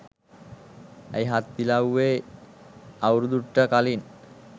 ඇයි හත් ඉලව්වේ අවුරුදු ට කලින්